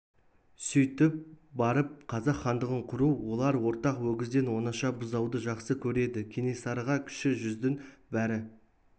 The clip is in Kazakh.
сөйтіп барып қазақ хандығын құру олар ортақ өгізден оңаша бұзауды жақсы көреді кенесарыға кіші жүздің бәрі